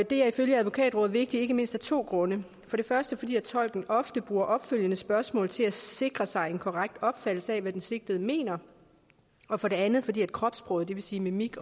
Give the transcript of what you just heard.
det er ifølge advokatrådet vigtigt ikke mindst af to grunde for det første fordi tolken ofte bruger opfølgende spørgsmål til at sikre sig en korrekt opfattelse af hvad den sigtede mener og for det andet fordi kropssproget det vil sige mimik